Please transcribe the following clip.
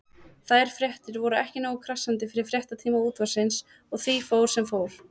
Þær fréttir voru ekki nógu krassandi fyrir fréttatíma Útvarpsins og því fór sem fór.